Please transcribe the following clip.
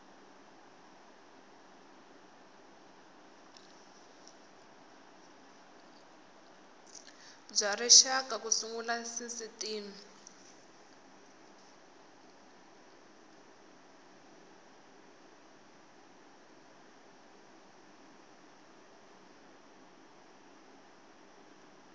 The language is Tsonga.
bya rixaka ku sungula sisitimi